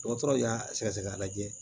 Dɔgɔtɔrɔw y'a sɛgɛsɛgɛ k'a lajɛ